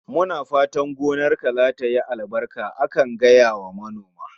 Muna fatan gonarka zatayi albarka akan gaya wa manoma